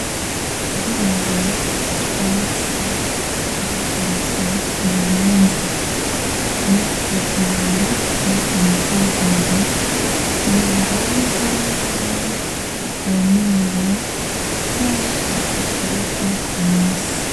Kugirango utwatsi two gushariza ibibanza tugume dutotahaye aritwo bita gazo biba ngombwa ko uvomera keshi gashoboka ku munsi.